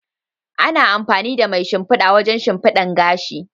Ana amfani da mai shimfida wajen shimfidan gashi.